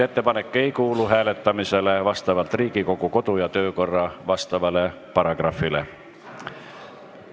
Ettepanek ei kuulu hääletamisele vastavalt Riigikogu kodu- ja töökorra seaduse vastavale paragrahvile.